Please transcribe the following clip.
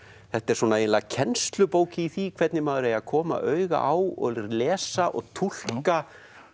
þetta er eiginlega kennslubók í því hvernig maður eigi að koma auga á og lesa og túlka